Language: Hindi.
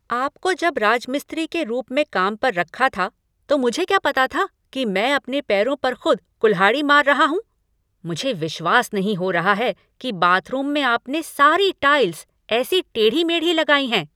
आपको जब राजमिस्त्री के रूप में काम पर रखा था तो मुझे क्या पता था कि मैं अपने पैरों पर खुद कुल्हाड़ी मार रहा हूँ। मुझे विश्वास नहीं हो रहा है कि बाथरूम में आपने सारी टाइल्स ऐसी टेढ़ी मेढ़ी लगाई हैं।